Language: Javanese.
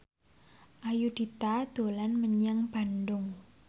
Ayudhita dolan menyang Bandung